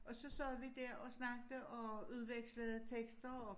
Og så sad vi der og snakkede og udvekslede tekster og